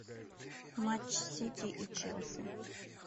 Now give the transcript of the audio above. матч сити и челси